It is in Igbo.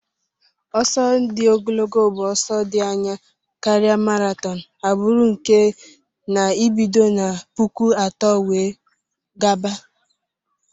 Ọsọ di ogolgo bu ọsọ di anya karia marathon agbụrụ nke n'ibido na puku atọ wee gaba.